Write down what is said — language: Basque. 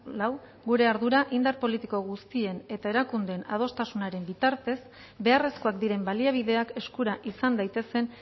lau gure ardura indar politiko guztien eta erakundeen adostasunaren bitartez beharrezkoak diren baliabideak eskura izan daitezen